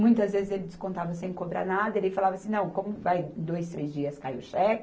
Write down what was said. Muitas vezes ele descontava sem cobrar nada, ele falava assim, não, como vai, dois, três dias cai o cheque,